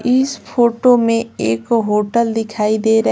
इस फोटो में एक होटल दिखाई दे रही --